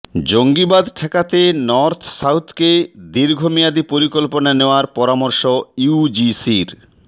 জঙ্গিবাদ ঠেকাতে নর্থ সাউথকে দীর্ঘমেয়াদী পরিকল্পনা নেওয়ার পরামর্শ ইউজিসির